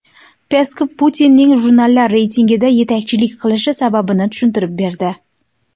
Peskov Putinning jurnallar reytingida yetakchilik qilishi sababini tushuntirib berdi.